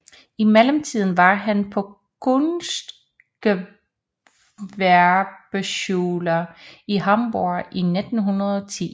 I mellemtiden var han på Kunstgewerbeschule i Hamburg 1910